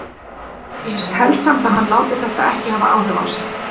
Ég held samt að hann láti þetta ekki hafa áhrif á sig.